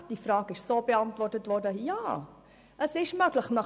Tatsächlich wurde die Frage mit einem «Ja, es ist möglich» beantwortet.